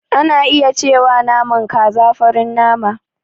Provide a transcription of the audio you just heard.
Ana iya cewa naman kaza farin nama.